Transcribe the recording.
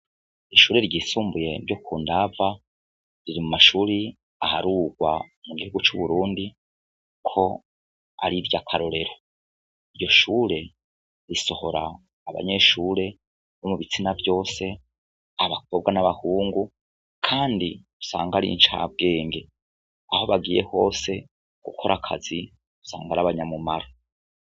Ishure ryisumbuye ryo ku Ndava riri mu mashuri aharurwa mu gihugu c'Uburundi ko ari iry'akarorero, iryo shure risohora abanyeshure bo mu bitsina vyose abakobwa n'abahungu, kandi usanga ar'incabwenge aho bagiye hose gukora akazi usanga ari abanyamumaro.